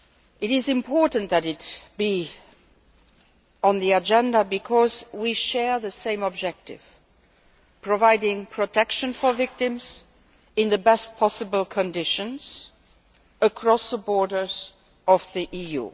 It is important that it be on the agenda because we share the same objective providing protection for victims in the best possible conditions across the borders of the EU.